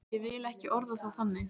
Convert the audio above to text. Ég vil ekki orða það þannig.